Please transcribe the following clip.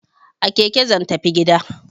A keke zan tafi gida!